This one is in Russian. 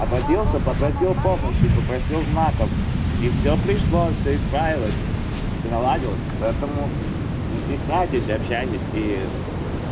обратился попросил помощи попросил знаков и всё пришло всё исправилась всё наладилось поэтому не стесняйтесь общаетесь и